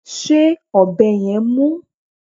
Ṣé ọ̀bẹ yẹn mú?